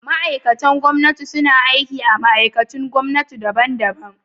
Ma’aikatan gwamnati suna aiki a ma’aikatun gwamnati daban-daban.